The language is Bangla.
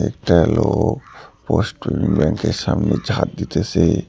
একটা লোক পোস্ট ব্যাংক -এর সামনে ঝাঁড় দিতেসে।